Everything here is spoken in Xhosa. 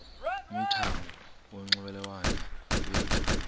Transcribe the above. umthamo wonxielelwano lwethu